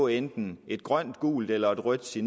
enten er grønt gult eller rødt se